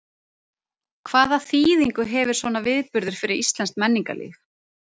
Hvaða þýðingu hefur svona viðburður fyrir íslenskt menningarlíf?